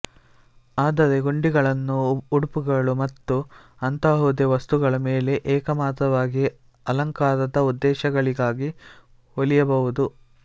ಆದರೆ ಗುಂಡಿಗಳನ್ನು ಉಡುಪುಗಳು ಮತ್ತು ಅಂತಹುದೇ ವಸ್ತುಗಳ ಮೇಲೆ ಏಕಮಾತ್ರವಾಗಿ ಅಲಂಕಾರದ ಉದ್ದೇಶಗಳಿಗಾಗಿ ಹೊಲಿಯಬಹುದು